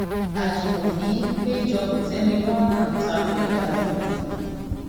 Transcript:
ajimobi péjọ kòtẹmilọrùn ta ko ìdájọ yẹn